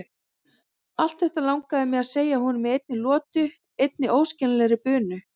Allt þetta langaði mig að segja honum í einni lotu, einni óskiljanlegri bunu.